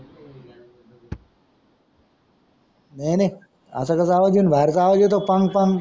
नाही नाही अस कस आवजा येईन बाहेरचा आवाज येतो पंग पंग.